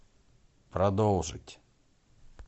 продолжить